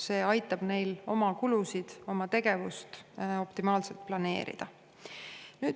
See aitab neil oma kulusid ja tegevust optimaalselt planeerida.